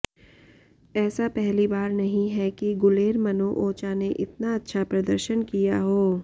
ऐसा पहली बार नहीं है कि गुलेरमनो ओचा ने इतना अच्छा प्रदर्शन किया हो